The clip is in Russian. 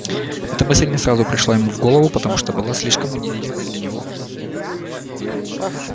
эта мысль не сразу пришла ему в голову потому что была слишком унизительной для него